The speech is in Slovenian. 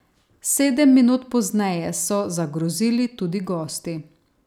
Sedem minut pozneje so zagrozili tudi gosti.